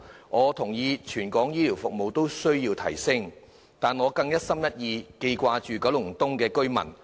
我認同全港的醫療服務均需要改善，但我更一心一意記掛着九龍東居民。